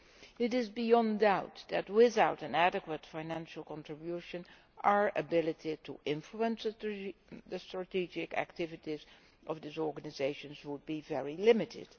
It is beyond doubt that, without an adequate financial contribution, our ability to influence the strategic activities of these organisations would be very limited.